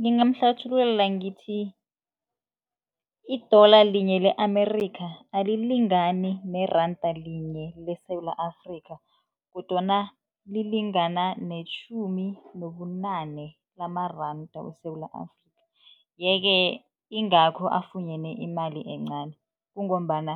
Ngingamuhlathululela ngithi, idola linye le Amerikha alilingani neranda linye leSewula Afrika kodwana lilingana netjhumi nobunane lamaranda weSewula Afrika yeke, ingakho afunyane imali encani kungombana